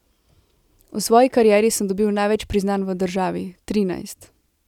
V svoji karieri sem dobil največ priznanj v državi, trinajst.